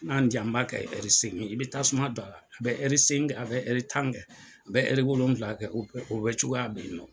N'an ye ja n b'a kɛ seegin ye i bɛ tasuma da la a bɛ segin kɛ a bɛ tan kɛ a bɛ wolonwula kɛ o bɛɛ cogoya bɛ yen nɔ.